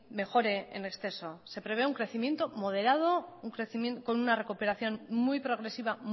mejore en exceso se prevé un crecimiento moderado con una recuperación muy progresiva